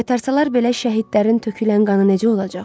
Qaytarsalar belə şəhidlərin tökülən qanı necə olacaq?